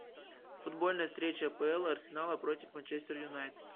футбольная встреча апл арсенала против манчестер юнайтед